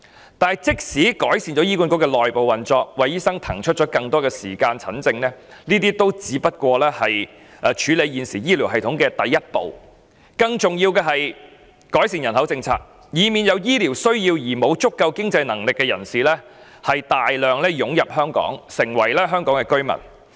然而，即使醫管局的內部運作有所改善，為醫生騰出更多時間診症，凡此種種皆只是處理現時醫療系統問題的第一步，更重要的是改善人口政策，以免有醫療需要而沒有足夠經濟能力的人士大量湧入香港，成為香港居民。